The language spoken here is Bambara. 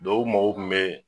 u ma ko kun bɛ.